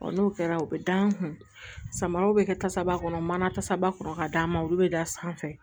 n'o kɛra u bɛ da n kun samaraw bɛ kɛ tasaba kɔnɔ mana kasaba kɔrɔ ka d'an ma olu bɛ da sanfɛ